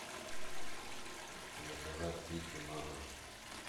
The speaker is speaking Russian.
заказать пиццу на дом